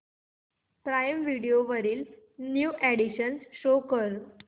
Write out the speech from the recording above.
prime Video वरील new additions show कर